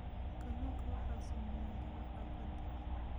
Kalluunka waxaa saameeya dhaawaca badda.